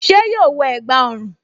Ṣé yóò wọ ẹ̀gbá ọrùn?